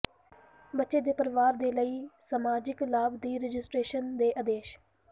ਬੱਚੇ ਦੇ ਨਾਲ ਪਰਿਵਾਰ ਦੇ ਲਈ ਸਮਾਜਿਕ ਲਾਭ ਦੀ ਰਜਿਸਟਰੇਸ਼ਨ ਦੇ ਆਦੇਸ਼